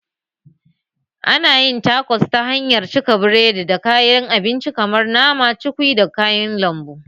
Ana yin takos ta hanyar cika biredi da kayan abinci kamar nama, cukwi da kayan lambu